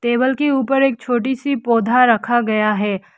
Table के ऊपर एक छोटी सी पौधा रखा गया है।